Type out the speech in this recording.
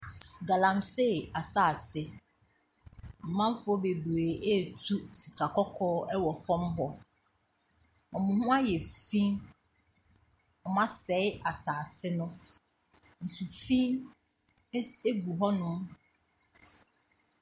Galamsey asase, amanfoɔ bebree retu sikakɔkɔɔ wɔn fam hɔ. Wɔn ho ayɛ fi. Wɔasɛe asase no. Nsufi si gu hɔnom.